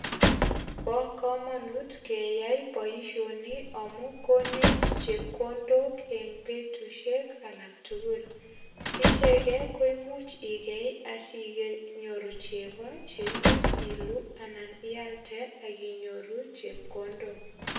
Bo kamanut keyai boisioni amu konech chepkondok en betusiek alak tugul. Icheget ko imuch igei asinyoru chego che imuch iluu anan ialde ak inyoru chepkondok.